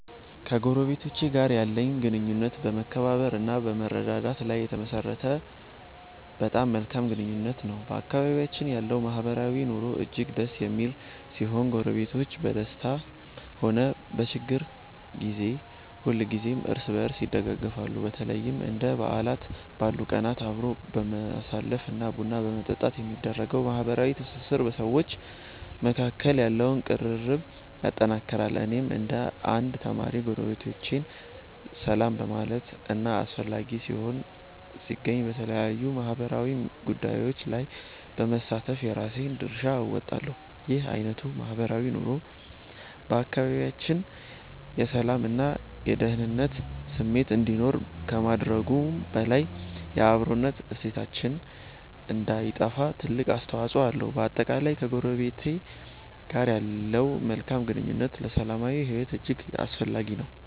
ከጎረቤቶቼ ጋር ያለኝ ግንኙነት በመከባበር እና በመረዳዳት ላይ የተመሠረተ በጣም መልካም ግንኙነት ነው። በአካባቢያችን ያለው ማህበራዊ ኑሮ እጅግ ደስ የሚል ሲሆን፣ ጎረቤቶች በደስታም ሆነ በችግር ጊዜ ሁልጊዜም እርስ በርስ ይደጋገፋሉ። በተለይም እንደ በዓላት ባሉ ቀናት አብሮ በማሳለፍ እና ቡና በመጠጣት የሚደረገው ማህበራዊ ትስስር በሰዎች መካከል ያለውን ቅርርብ ያጠነክረዋል። እኔም እንደ አንድ ተማሪ፣ ጎረቤቶቼን ሰላም በማለት እና አስፈላጊ ሆኖ ሲገኝ በተለያዩ ማህበራዊ ጉዳዮች ላይ በመሳተፍ የራሴን ድርሻ እወጣለሁ። ይህ አይነቱ ማህበራዊ ኑሮ በአካባቢያችን የሰላም እና የደኅንነት ስሜት እንዲኖር ከማድረጉም በላይ፣ የአብሮነት እሴታችን እንዳይጠፋ ትልቅ አስተዋፅኦ አለው። በአጠቃላይ፣ ከጎረቤት ጋር ያለው መልካም ግንኙነት ለሰላማዊ ሕይወት እጅግ አስፈላጊ ነው።